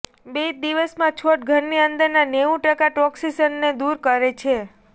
બે જ દિવસમાં છોડ ઘરની અંદરના નેવું ટકા ટોક્સિન્સને દૂર કરે છે